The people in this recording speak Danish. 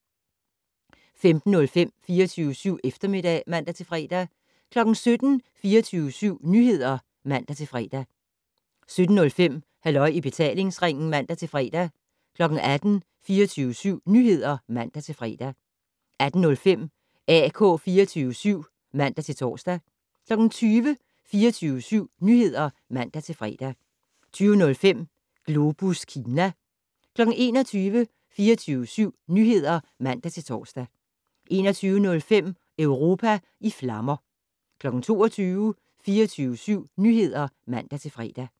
15:05: 24syv Eftermiddag (man-fre) 17:00: 24syv Nyheder (man-fre) 17:05: Halløj i betalingsringen (man-fre) 18:00: 24syv Nyheder (man-fre) 18:05: AK 24syv (man-tor) 20:00: 24syv Nyheder (man-fre) 20:05: Globus Kina 21:00: 24syv Nyheder (man-tor) 21:05: Europa i flammer 22:00: 24syv Nyheder (man-fre)